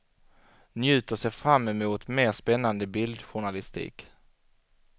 Njut och se framemot mer spännande bildjournalistik.